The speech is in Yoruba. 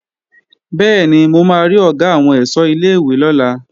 Bẹ́ẹ̀ni, mo máa rí Ọ̀gá àwọn ẹ̀ṣọ́ ilé-ìwé lọ́la